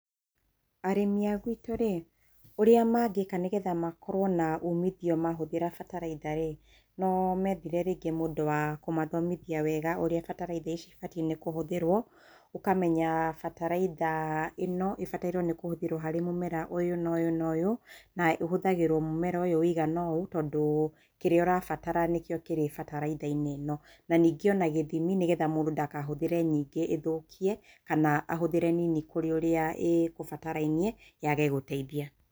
Arĩmĩ a gwitũ rĩ, ũrĩa mangĩka nĩgetha makorwo na umitho mahũthĩra bataraitha rĩ, no methire rĩngĩ mũndũ wa kũmathomithia wega ũrĩa bataraitha cibatiĩ nĩ kũhũthĩrwo. Ũkamenya bataraitha ĩno ibatairwo nĩ kũhũthĩrwo harĩ mũmera ũyũ na ũyũ na ũyũ. Na ũhũthagĩrwo mũmera ũyũ wĩigana ũũ, tondũ kĩrĩa ũrabatara nĩkĩo kĩrĩ bataraitha-inĩ ĩno. Na ningĩ o na gĩthimi, nĩgetha mũndũ ndakahũthĩre nyingĩ ĩthũkie, kana ahũthĩre nini kũrĩ ũrĩa ĩkũbatarainie, yage gũteithia.